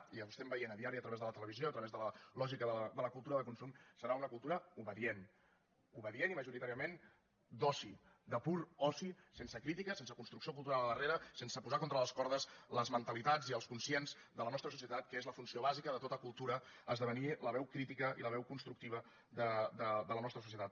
i ho estem veient a diari a través de la televisió a través de la lògica de la cultura de consum serà una cultura obedient obedient i majoritàriament d’oci de pur oci sense crítica sense construcció cultural darrere sense posar contra les cordes les mentalitats i els conscients de la nostra societat que és la funció bàsica de tota cultura esdevenir la veu crítica i la veu constructiva de la nostra societat